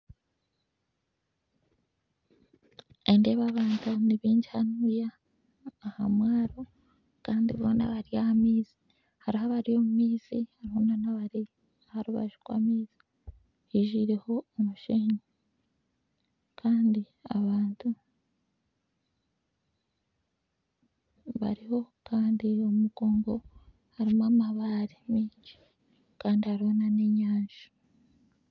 Nindeeba abantu nibaingi Hanu aha mwaro Kandi boona bari ah'amaizi hariho abari omu maizi hariho nabari aha rubaju rw'amaizi hijwireho omushenyi Kandi abantu bariho Kandi omugongo harimu amabare mingi Kandi hariho n'enyanja.